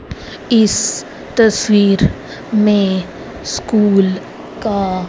इस तस्वीर में स्कूल का--